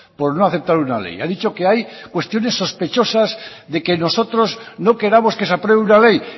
por no aceptar una ley ha dicho que hay cuestiones sospechosas de que nosotros no queramos que se apruebe una ley